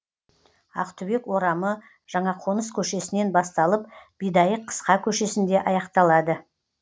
ақтүбек орамы жаңақоныс көшесінен басталып бидайық қысқа көшесінде аяқталады